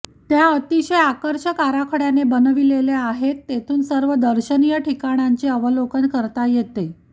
त्या अतिशय आकर्षक आराखड्याने बनविलेल्या आहेत तेथून सर्व दर्शनीय ठिकाणांचे अवलोकन करता येते